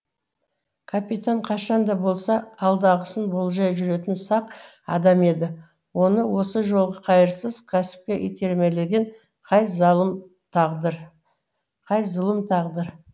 капитан қашан да болса алдағысын болжай жүретін сақ адам еді оны осы жолғы қайырсыз кәсіпке итермелеген қай зұлым тағдыр